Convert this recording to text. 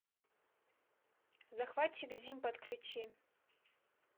захватчик зим подключи